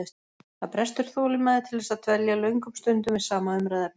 Það brestur þolinmæði til þess að dvelja löngum stundum við sama umræðuefni.